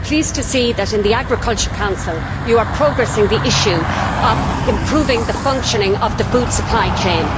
I am pleased to see that in the Agriculture Council, you are making progress with the issue of improving the functioning of the food supply chain.